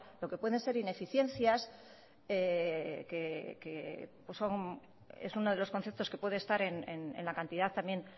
lo que pueden ser ineficiencias que es uno de los conceptos que puede estar en la cantidad también